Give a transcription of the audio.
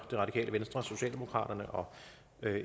radikale venstre socialdemokraterne og